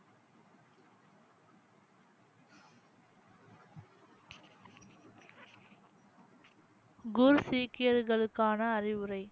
குர் சீக்கியர்களுக்கான அறிவுரை